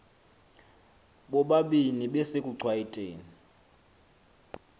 bobabini besekuchwayite ni